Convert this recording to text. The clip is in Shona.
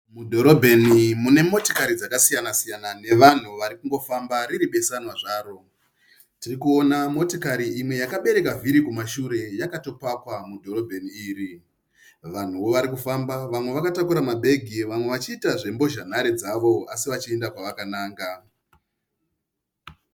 Mudhorobheni mune motikari dzakasiya -siyana nevanhu vari kungofamba riri besanwa zvaro. Tiri kuona motikari imwe yakabereka vhiri kumashure yakatopakwa mudhorobheni iri. Vanhuwo vari kufamba, vamwe vakatakura mabhegi, vamwe vachiita zvembozhanhare dzavo asi vachienda kwavakananga .